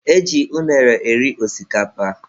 E ji unere eri osikapa.